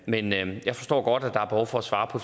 men jeg forstår godt at der er behov for at svare på